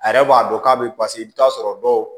A yɛrɛ b'a dɔn k'a bɛ i bɛ t'a sɔrɔ dɔw